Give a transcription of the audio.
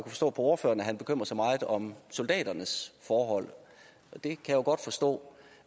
forstå ordføreren bekymrer sig meget om soldaternes forhold og det kan jeg godt forstå